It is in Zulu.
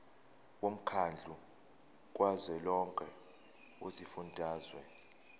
womkhandlu kazwelonke wezifundazwe